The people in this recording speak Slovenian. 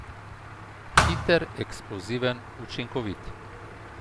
Hiter, eksploziven, učinkovit.